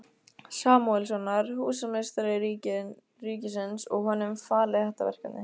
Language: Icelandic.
Samúelssonar, húsameistara ríkisins, og honum falið þetta verkefni.